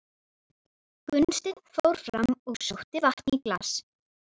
Gunnsteinn fór fram og sótti vatn í glas.